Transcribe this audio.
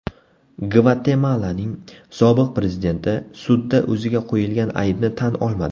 Gvatemalaning sobiq prezidenti sudda o‘ziga qo‘yilgan aybni tan olmadi.